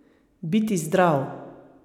Biti zdrav!